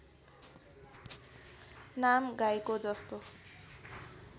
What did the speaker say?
नाम गाईको जस्तो